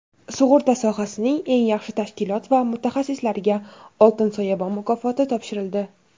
Sug‘urta sohasining eng yaxshi tashkilot va mutaxassislariga "Oltin soyabon" mukofoti topshirildi.